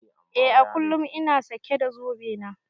Eh à kullum ina sake da zobe na.